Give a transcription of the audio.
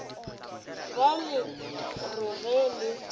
be le re ge le